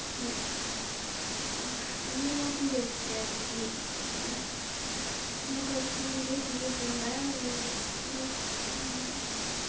ну ну не могу я тебе ответить понимаешь ну как бы я тебе понравилась две секунды